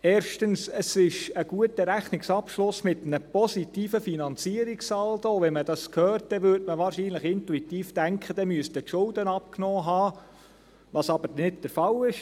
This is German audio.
erstens: Es ist ein guter Rechnungsabschluss mit einem positiven Finanzierungssaldo, und wenn man dies hört, dann würde man wahrscheinlich intuitiv denken, dass die Schulden abgenommen haben müssten, was aber nicht der Fall ist.